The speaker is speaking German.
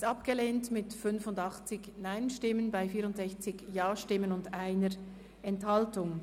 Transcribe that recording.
Sie haben das Postulat abgelehnt mit 85 Nein- gegen 64 Ja-Stimmen bei 1 Enthaltung.